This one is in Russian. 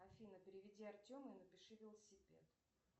афина переведи артему и напиши велосипед